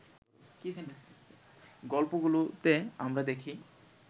গল্পগুলোতে আমরা দেখি